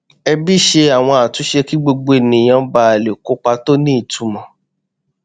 ẹbí ṣe àwọn àtúnṣe kí gbogbo ènìyàn ba lè kópa tó ní ìtumọ